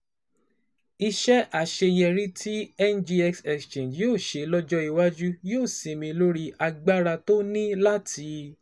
Iṣẹ́ àṣeyọrí tí NGX Exchange yóò ṣe lọ́jọ́ iwájú yóò sinmi lórí agbára tó ní láti